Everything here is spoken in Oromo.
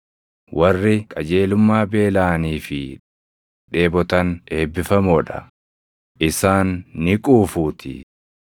Warri qajeelummaa beelaʼanii fi dheebotan eebbifamoo dha; isaan ni quufuutii.